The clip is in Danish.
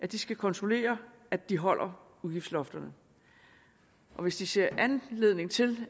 det skal kontrollere at de holder udgiftslofterne hvis de ser anledning til